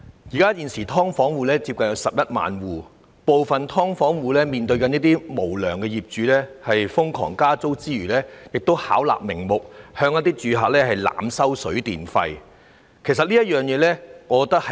現時有接近11萬"劏房戶"，當中有一部分除面對無良業主瘋狂加租外，亦遭到他們巧立名目，濫收水電費，這實為社會的悲哀。